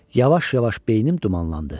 Yavaş-yavaş beynim dumanlandı.